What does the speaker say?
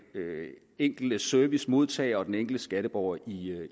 enkelte servicemodtager og den enkelte skatteborger i